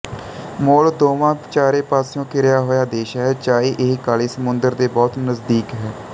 Moldova ਚਾਰੇ ਪਾਸਿਓਂ ਘਿਰਿਆ ਹੋਇਆ ਦੇਸ਼ ਹੈ ਚਾਹੇ ਇਹ ਕਾਲੇ ਸਮੁੰਦਰ ਦੇ ਬਹੁਤ ਨਜ਼ਦੀਕ ਹੈ